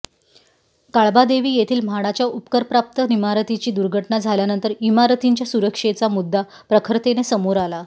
काळबादेवी येथील म्हाडाच्या उपकरप्राप्त इमारतीची दुर्घटना झाल्यानंतर इमारतींच्या सुरक्षेचा मुद्दा प्रखरतेने समोर आला